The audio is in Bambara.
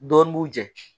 Dɔɔnin b'u jɛ